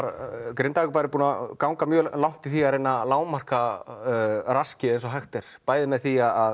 Grindavíkurbær hefur gengið mjög langt í því að reyna að lágmarka raskið eins og hægt er bæði með því að